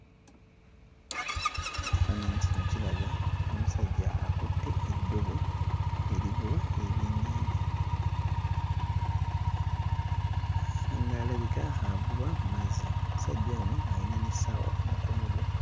Ekifaananyi kino kiraga omusajja akutte eddobo erivuba ebyennyanja ng'alabika avuba mu mazzi. Omusajja ono alina n'essaawa ku mukono gwe.